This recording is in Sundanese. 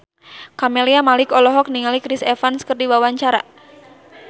Camelia Malik olohok ningali Chris Evans keur diwawancara